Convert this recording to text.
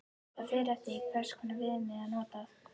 Það fer eftir því hvers konar viðmið er notað.